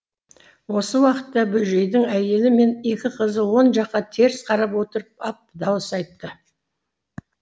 осы уақытта бөжейдің әйелі мен екі қызы он жаққа теріс қарап отырып ап дауыс айтты